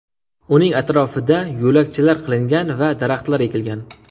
Uning atrofida yo‘lakchalar qilingan va daraxtlar ekilgan.